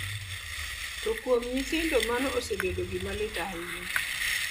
To kuom nyithindo, mano osebedo gima lit ahinya.